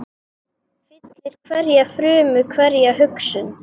Fyllir hverja frumu, hverja hugsun.